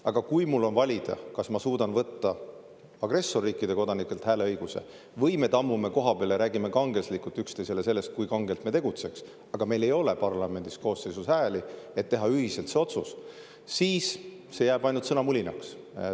Aga kui mul on valida, kas ma suudan võtta agressorriikide kodanikelt hääleõiguse või me tammume kohapeal ja räägime kangelaslikult üksteisele sellest, kui kangelt me tegutseks, aga meil ei ole parlamendi koosseisus hääli, et teha ühiselt see otsus, siis see jääb ainult sõnamulinaks.